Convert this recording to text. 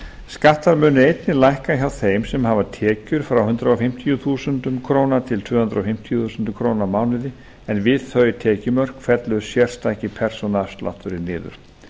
skattar munu einnig lækka hjá þeim sem hafa tekjur frá hundrað fimmtíu þúsund krónur til tvö hundruð fimmtíu þúsund krónur á mánuði en við þau tekjumörk fellur sérstaki persónuafslátturinn niður